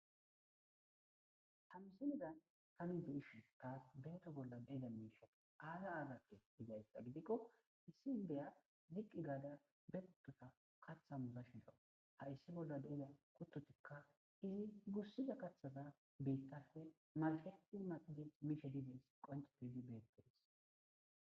Ha misileza tan beyishin tas Beto bolla de'izay aza azate gizaysa gidikon issi indiya ziq gada bekutota katha muzashe dawus, haysa bolla de'iza kutotika Keehi gusida kathata bittappe maxid maxid mishe dizays qonce gidid beetesi.